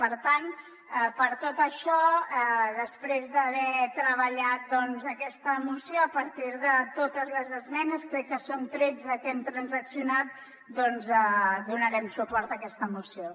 per tant per tot això després d’haver treballat aquesta moció a partir de totes les esmenes crec que són tretze que hem transaccionat donarem suport a aquesta moció